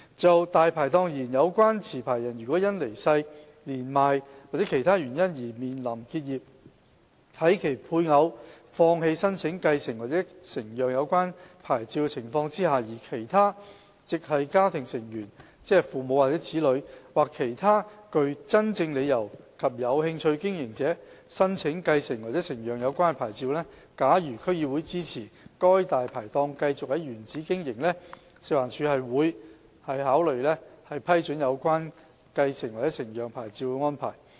就"大牌檔"而言，有關持牌人如因離世、年邁或其他原因而面臨結業，在其配偶放棄申請繼承或承讓有關牌照的情況下，而其他"直系家庭成員"或其他具真正理由及有興趣經營者申請繼承或承讓有關牌照，假如區議會支持該"大牌檔"繼續在原址經營，食環署會積極考慮批准有關繼承或承讓牌照的安排。